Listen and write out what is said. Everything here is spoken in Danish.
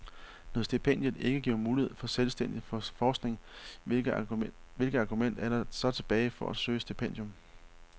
Når stipendiet ikke giver mulighed for selvstændig forskning, hvilket argument er der så tilbage for at søge et stipendium?